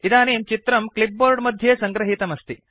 इदानीं चित्रम् क्लिप्बोर्ड् मध्ये संगृहीतमस्ति